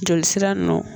Joli sira nɔ